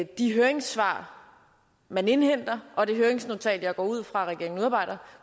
de høringssvar man indhenter og det høringsnotat som jeg går ud fra at regeringen udarbejder